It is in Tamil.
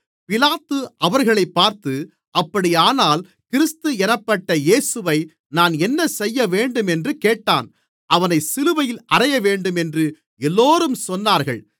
பிலாத்து அவர்களைப் பார்த்து அப்படியானால் கிறிஸ்து என்னப்பட்ட இயேசுவை நான் என்னசெய்யவேண்டும் என்று கேட்டான் அவனைச் சிலுவையில் அறையவேண்டும் என்று எல்லோரும் சொன்னார்கள்